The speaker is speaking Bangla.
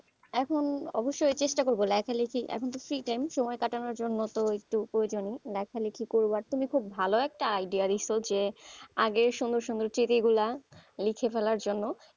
এখন অবশ্যই চেষ্টা করবো লেখা লিখে, এখন তো free time সময় কাটানোর জন্য তো একটু প্রয়োজন লেখালেখি করব আর তুমি খুব ভালো একটা idea দিছো যে আগের সুন্দর সুন্দর গুলা লিখে ফেলার জন্য,